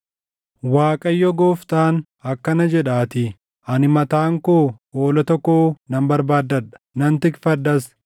“‘ Waaqayyo Gooftaan akkana jedhaatii: Ani mataan koo hoolota koo nan barbaadadha; nan tikfadhas.